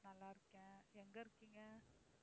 நல்லா இருக்கேன். எங்க இருக்கீங்க?